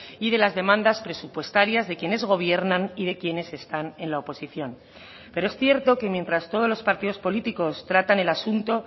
y de las demandas presupuestarias de quienes gobiernan y de quienes están en la oposición pero es cierto que mientras todos los partidos políticos tratan el asunto